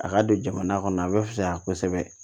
A ka don jamana kɔnɔ a bɛ fisaya kosɛbɛ